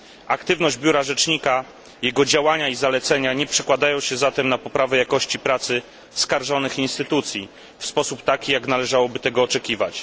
Aktywność biura Rzecznika, jego działania i zalecenia nie przekładają się zatem na poprawę jakości pracy skarżonych instytucji tak, jak należałoby tego oczekiwać.